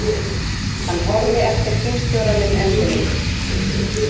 Hann horfði eftir símstjóranum endilöngum.